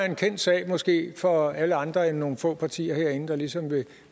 en kendt sag måske for alle andre end nogle få partier herinde der ligesom vil